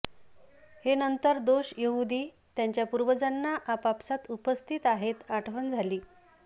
हे नंतर दोष यहूदी त्याच्या पूर्वजांना आपापसांत उपस्थित आहेत आठवण झाली